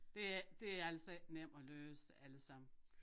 Det er det er altså ikke nem at løse altså